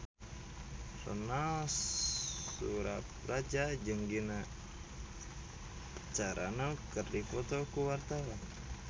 Ronal Surapradja jeung Gina Carano keur dipoto ku wartawan